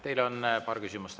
Teile on paar küsimust.